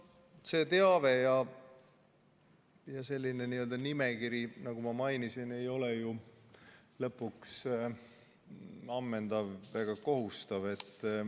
See teave ja see nimekiri, nagu ma mainisin, ei ole ju ammendav ega kohustav.